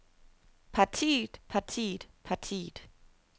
partiet partiet partiet